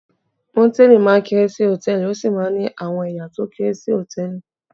Mòtẹ́lìì máa ń kéré sí Hòtẹ́lìì, ó sì máa ń ní àwọn ẹ̀ya tó kéré sí Hòtẹ́lìì.